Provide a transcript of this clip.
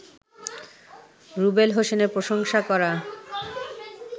রুবেল হোসেনের প্রশংসা করা